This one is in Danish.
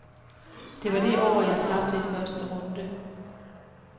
Det var det år, jeg tabte i første runde.